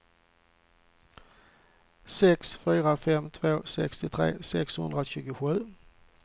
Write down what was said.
sex fyra fem två sextiotre sexhundratjugosju